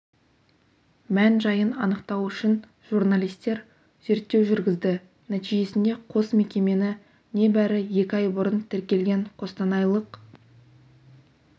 мән-жайын анықтау үшін журналистер зерттеу жүргізді нәтижесінде қос мекемені небәрі екі ай бұрын тіркелген қостанайлық